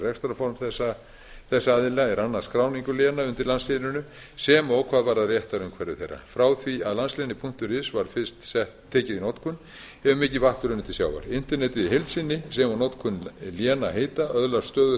rekstrarform þess aðila er annast skráningu léna undir landsléninu sem og hvað varðar réttarumhverfi þeirra frá því að landslénið is var fyrst tekið í notkun hefur mikið vatn runnið til sjávar internetið í heild sinni sem og notkun lénaheita öðlast stöðugt